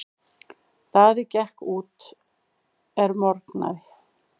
Daði gekk út er morgnaði.